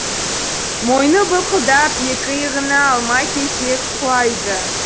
мойны былқылдап екі иығына алма кезек құлайды